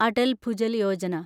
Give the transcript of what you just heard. Atal Bhujal Yojana